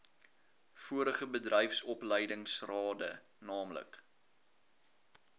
vorige bedryfsopleidingsrade naamlik